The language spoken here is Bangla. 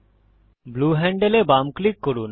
ব্লু হ্যান্ডল এ বাম ক্লিক করুন